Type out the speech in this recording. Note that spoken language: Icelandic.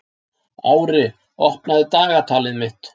Ári, opnaðu dagatalið mitt.